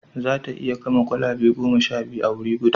Za ta iya gama kwalabe goma sha biyu a wuri guda